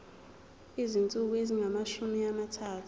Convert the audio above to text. izinsuku ezingamashumi amathathu